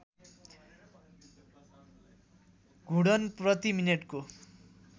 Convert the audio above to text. घुर्णन प्रति मिनेटको